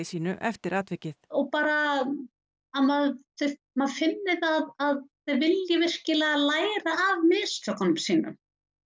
sínu eftir atvikið og bara að maður maður finni það að þeir vilji virkilega læra af mistökunum sínum